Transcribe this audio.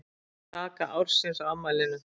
Kaka ársins á afmælinu